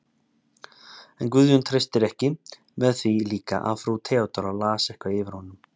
En Guðjón treystist ekki, með því líka að frú Theodóra las eitthvað yfir honum.